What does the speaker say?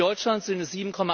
In Deutschland sind